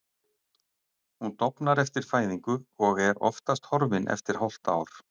Hún dofnar eftir fæðingu og er oftast horfin eftir hálft ár.